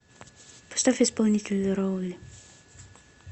поставь исполнителя роули